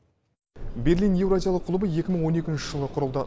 берлин еуразиялық клубы екі мың он екінші жылы құрылды